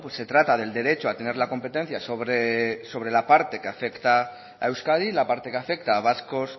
se trata del derecho a tener la competencia sobre la parte que afecta a euskadi la parte que afecta a vascos